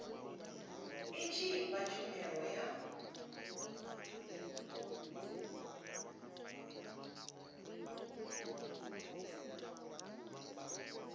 i tshi fha tshumelo ya